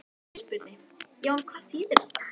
Ég spurði: Já, en hvað þýðir þetta?